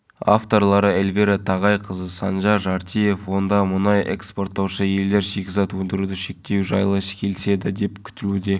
мұнда ғаламат жұмыстар атқарылды жағалауда жаңа арбат бой көтеріп көшелерге шам орнатылды демалыс үйлерінің арасындағы